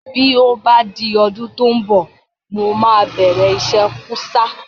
Bí ó bá di ọdún tí ó ń bọ̀, mo máa bẹ̀rẹ̀ iṣẹ́ kúsá